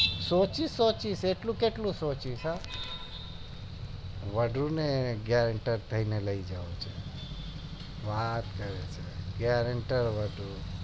સોચી સોચી એટલું કેટલું સોચીસ વાદ્રું ને gerenter થઈને લઇ જાઓ છે વાત કરે છે gerenter વદ્રું